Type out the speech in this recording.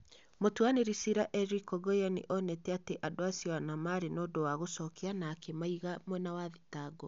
Mũtuanĩri cira Eric Ogoia nĩ onete atĩ andũ acio ana maarĩ na ũndũ wa gũcokia na akĩmaiga mwena wa thitango.